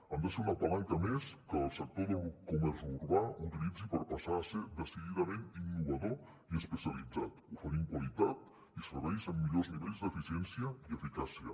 han de ser una palanca més que el sector del comerç urbà utilitzi per passar a ser decididament innovador i especialitzat i perquè ofereixi qualitat i serveis amb millors nivells d’eficiència i eficàcia